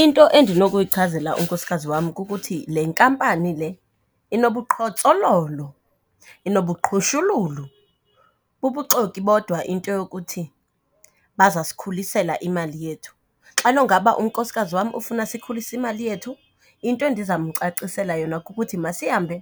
Into endinokuyichazela unkosikazi wam kukuthi le nkampani le inobuqhotsololo, inobuqhushululu, bubuxoki bodwa into yokuthi bazawusikhulisela imali yethu. Xa nongaba unkosikazi wam ufuna sikhulise imali yethu, into endizamcacisela yona kukuthi masihambe